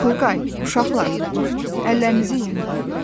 Turqay, uşaqlar, əllərinizi yuyun.